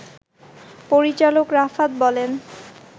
পরিচালক রাফাত বলেন